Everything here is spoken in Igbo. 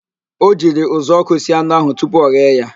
O jiri uzuọkụ sie anụ ahụ tupu ọghee ya